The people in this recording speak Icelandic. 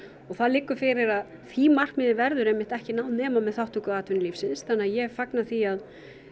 og það liggur fyrir að því markmiði verður ekki náð nema með þátttöku atvinnulífsins þannig að ég fagna því að